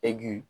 E bi